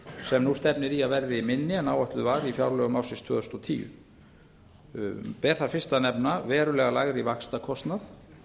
sem nú stefnir í að verði minni en áætlað var í fjárlögum ársins tvö þúsund og tíu ber þar fyrst að nefna verulega lægri vaxtakostnað